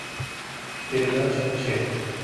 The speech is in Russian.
передача че